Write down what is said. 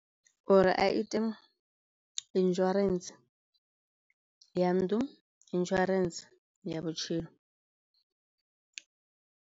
Uri a ite insurance ya nnḓu, insurance ya vhutshilo.